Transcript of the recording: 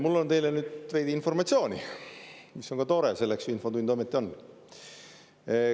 Mul on teile nüüd veidi informatsiooni, mis on tore – selleks ju infotund ometi on.